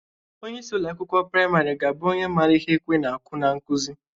Onyeisi ụlọ akwụkwọ prịmarị ga-abụ onye mara ihe ekwe na-akụ n'nkụzị.